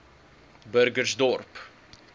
burgersdorp